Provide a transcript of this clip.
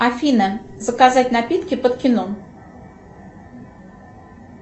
афина заказать напитки под кино